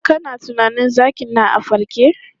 Kana tunanin zakin na a farke?